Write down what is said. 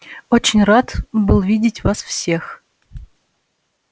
очень рад был видеть вас всех